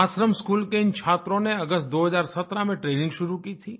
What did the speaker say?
आश्रमस्कूल के इन छात्रों ने अगस्त 2017 में ट्रेनिंग शुरू की थी